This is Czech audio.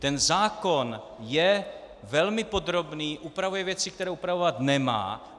Ten zákon je velmi podrobný, upravuje věci, které upravovat nemá.